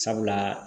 Sabula